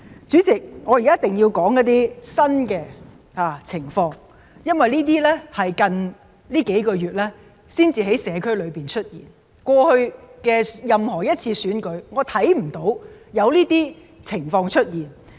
主席，我現在一定要指出一些新的情況，因為這是近幾個月才在社區裏出現，我看不到過去任何一次選舉有這些情況出現。